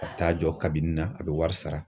A bɛ taa jɔ kabini na , a bɛ wari sara.